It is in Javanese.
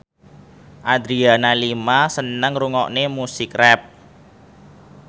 Adriana Lima seneng ngrungokne musik rap